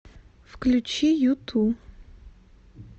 включи юту